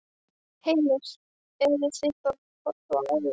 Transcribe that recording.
Heimir: Eruð þið bara að horfa á í dag?